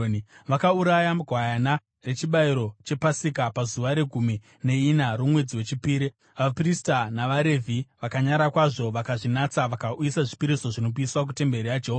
Vakauraya gwayana rechibayiro chePasika pazuva regumi neina romwedzi wechipiri. Vaprista navaRevhi vakanyara kwazvo vakazvinatsa vakauyisa zvipiriso zvinopiswa kutemberi yaJehovha.